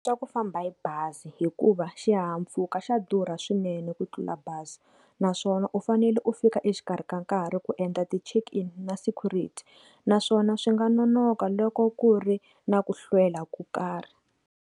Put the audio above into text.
Swa ku famba hi bazi hikuva xihahampfhuka xa durha swinene ku tlula bazi naswona u fanele u fika exikarhi ka nkarhi ku endla ti check in na security naswona swi nga nonoka loko ku ri na ku hlwela ku karhi.